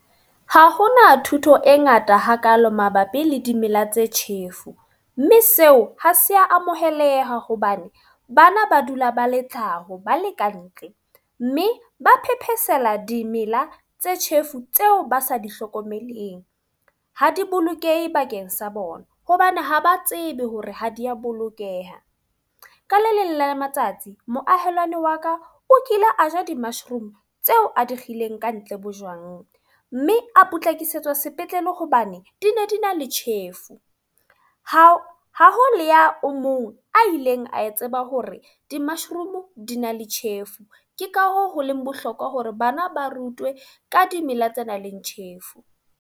Ha hona thuto e ngata hakalo mabapi le dimela tse tjhefu. Mme seo ha se a amoheleha hobane bana ba dula ba le tlhaho ba le ka ntle. Mme ba phephesehela dimela tse tjhefu tseo ba sa di hlokomeleng. Ha di bolokehe bakeng sa bona, hobane ha ba tsebe hore ha di a bolokeha. Ka le leng la matsatsi moahelwane wa ka o kile a ja di-mushroom tseo a di kgethileng ka ntle bojwang. Mme a potlakisetswa sepetlele hobane di ne di na le tjhefu. Ha ha ho le ya o mong a ileng a tseba hore di-mushroom di na le tjhefu. Ke ka hoo ho leng bohlokwa hore bana ba rutwe ka dimela tse nang le tjhefu.